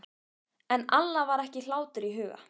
En Alla var ekki hlátur í huga.